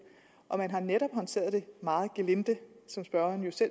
man har netop håndteret det meget gelinde spørgeren